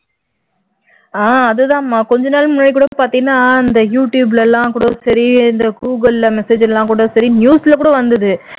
அதுதான் அம்மா கொஞ்ச நாள் முன்னாடி கூட பார்த்தீனா அந்த youtube ல எல்லாம் கூட சரி இந்த google ல message ல எல்லாம் கூட சர news ல கூட வந்தது